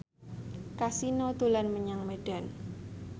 Kasino dolan menyang Medan